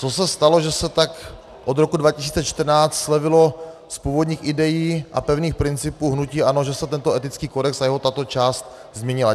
Co se stalo, že se tak od roku 2014 slevilo z původních idejí a pevných principů hnutí ANO, že se tento etický kodex a tato jeho část změnila?